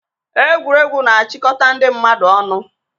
Egwuregwu na-achịkọta ndị mmadụ ọnụ.